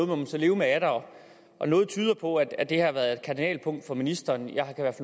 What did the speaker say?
må man så leve med er der og noget tyder på at det her har været et kardinalpunkt for ministeren jeg har i hvert